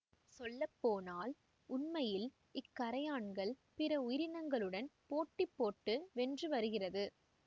சொல்லப்போனால் உண்மையில் இக்கறையான்கள் பிற உயிரினங்களுடன் போட்டிப்போட்டு வென்று வருகிறது